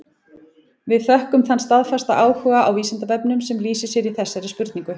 Við þökkum þann staðfasta áhuga á Vísindavefnum sem lýsir sér í þessari spurningu.